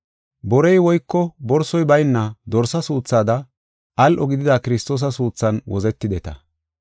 Borey woyko borsoy bayna dorsa suuthada al7o gidida Kiristoosa suuthan wozetideta.